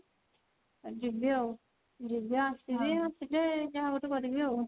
ଯିବି ଆଉ ଯିବି ଆସିବି ଆଉ ଆସିଲେ ଯାହା ଗୋଟେ କରିବି ଆଉ।